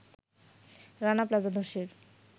Rana Plaza ধ্বসের